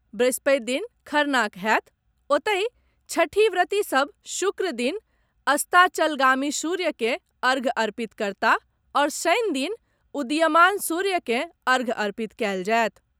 वृहस्पति दिन खरनाक होयत ओतहि, छठिव्रति सभ शुक्र दिन अस्ताचलगामी सूर्य के अर्ध्य अर्पित करताह आओर शनि दिन उदीयमान सूर्य के अर्ध्य अर्पित कयल जायत।